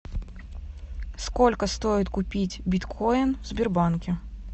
сколько стоит купить биткоин в сбербанке